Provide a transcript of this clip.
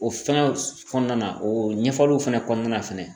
O fɛn kɔnɔna o ɲɛfɔliw fɛnɛ kɔnɔna fɛnɛ